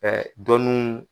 Ɛɛ dɔnuw